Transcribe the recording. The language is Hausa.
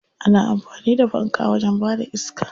Ana amfani da fanka wajen bada iska.